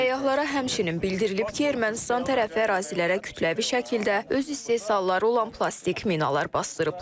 Səyyahlara həmçinin bildirilib ki, Ermənistan tərəfi ərazilərə kütləvi şəkildə öz istehsalları olan plastik minalar basdırıblar.